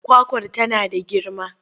Kwakwar tana da girma?